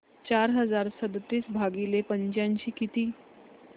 चार हजार सदतीस भागिले पंच्याऐंशी किती